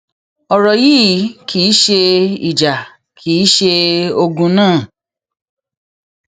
ọrọ yìí kì í ṣe ìjà kì í ṣe ogun náà